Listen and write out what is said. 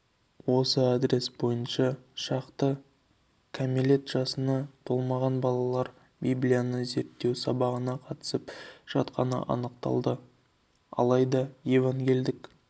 осы адрес бойынша шақты кәмелет жасына толмаған балалар библияны зерттеу сабағына қатысып жатқаны анықталды алайда евангельдік